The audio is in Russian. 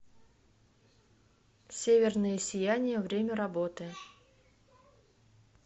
северное сияние время работы